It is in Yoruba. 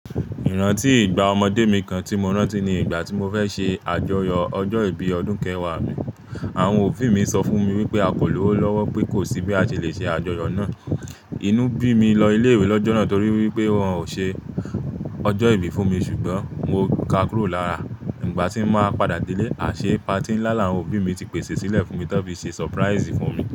Ìrántí ìgbà ọmọdé mi kan tí mo rántí ni ìgbà tí mo fẹ́ ṣe àjọyọ̀ ọjọ́ ìbí ọdún kẹwàá mi. Àwọn òbí mi sọ fún mi wípé a kò lówó lọ́wọ́ pé kò sí bí a ṣe le ṣe àjọyọ̀ náà. Inú bí mi lọ ilé-ìwé lọ́jọ́ náà torí wípé wọn ò ṣe ọjọ́ ìbí fún mi ṣùgbọ́n mo ká kúrò lára. Igbà tí n máa padà dé lé, a ṣe patí ńlá làwọn òbí mi tí pèsè sílẹ̀ fún mi tán fi ṣe surprise fún mi.